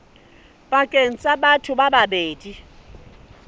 pakeng tsa batho ba babedi